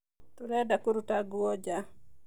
Tũrenda kũruta nguo nja